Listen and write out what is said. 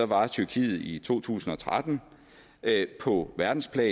var tyrkiet i to tusind og tretten på verdensplan